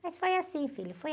Mas foi assim, filho. Foi